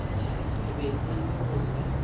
be e le go se